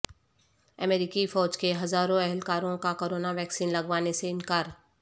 امریکی فوج کے ہزاروں اہلکاروں کا کرونا ویکسین لگوانے سے انکار